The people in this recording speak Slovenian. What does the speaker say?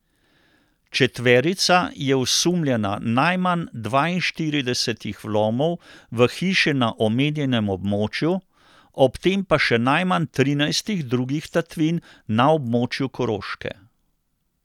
Četverica je osumljena najmanj dvainštiridesetih vlomov v hiše na omenjenem območju, ob tem pa še najmanj trinajstih drugih tatvin na območju Koroške.